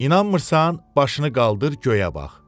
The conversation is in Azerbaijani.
İnanmırsan, başını qaldır, göyə bax.